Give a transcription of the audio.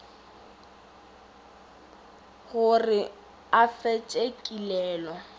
go re a fetše kilelo